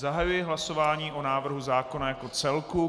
Zahajuji hlasování o návrhu zákona jako celku.